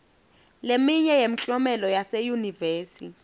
leminye yemklomelo yaseyunivesi